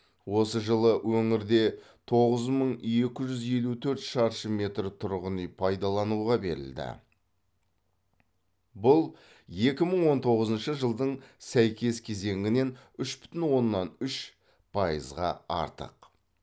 осы жылы өңірде тоғыз мың екі жүз елу төрт шаршы метр тұрғын үй пайдалануға берілді бұл екі мың он тоғызыншы жылдың сәйкес кезеңінен үш бүтін оннан үш пайызға артық